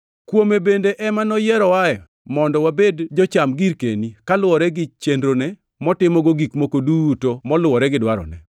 Kuome bende ema noyierowae mondo wabed jocham girkeni; kaluwore gi chenrone motimogo gik moko duto moluwore gi dwarone,